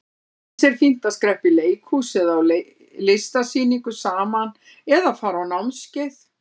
Eins er fínt að skreppa í leikhús eða á listasýningu saman eða fara á námskeið.